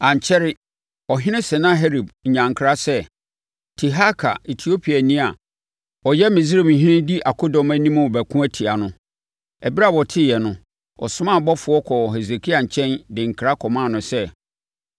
Ankyɛre, ɔhene Sanaherib nyaa nkra sɛ, Tirhaka Etiopiani a ɔyɛ Misraimhene di akodɔm anim rebɛko atia no. Ɛberɛ a ɔteeɛ no, ɔsomaa abɔfoɔ kɔɔ Hesekia nkyɛn de nkra kɔmaa no sɛ: